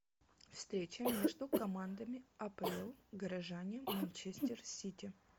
встреча между командами апл горожане манчестер сити